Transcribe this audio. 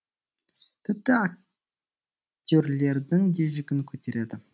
тіпті актерлердің де жүгін көтереді